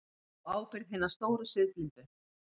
Á ábyrgð hinna stóru siðblindu.